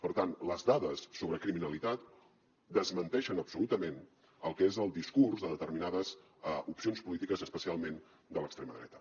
per tant les dades sobre criminalitat desmenteixen absolutament el que és el discurs de determinades opcions polítiques especialment de l’extrema dreta